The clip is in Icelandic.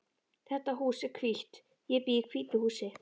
Þetta hús er hvítt. Ég bý í hvítu húsi.